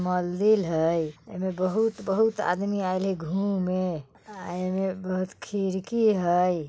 मंदिर हई | एमे बहुत बहुत आदमी आएल हई घूमे | अ एमे बहुत खिड़की हई ।